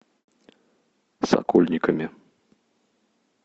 сокольниками